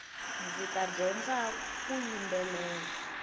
ndzita dyondzaku yimbelela